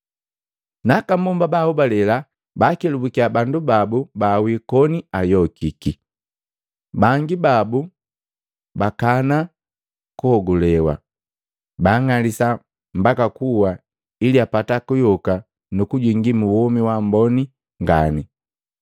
Na aka mbomba baahobale baakelubukiya bandu babu baawi koni ayokiki. Bangi babu bakana kuhogulewa, baang'alisa mbaka kuwa ili apata kuyoka nu kujingi mu womi wamboni ngani.